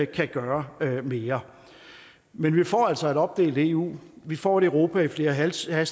kan gøre mere men vi får altså et opdelt eu vi får et europa i flere hastigheder